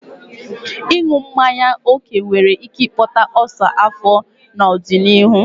Ịṅụbiga mmanya ókè nwere ike ịkpata ulcer afọ n'ọdịnihu.